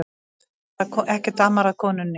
Ekkert amar að konunni